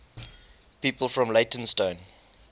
people from leytonstone